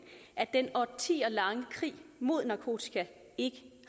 at den årtier lange krig mod narkotika ikke